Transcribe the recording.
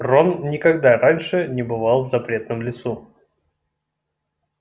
рон никогда раньше не бывал в запретном лесу